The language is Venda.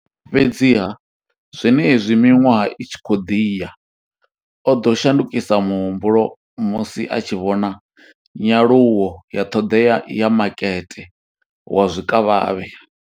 Fhedziha, zwenezwi miṅwaha i tshi khou ḓi ya, o ḓo shandukisa muhumbulo musi a tshi vhona nyaluwo ya ṱhoḓea ya makete wa zwikavhavhe.